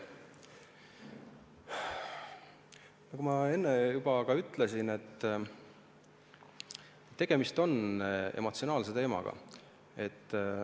Nagu ma enne juba ütlesin, on tegemist emotsionaalse teemaga.